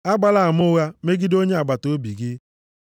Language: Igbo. Agbala ama ụgha megide onye agbataobi gị.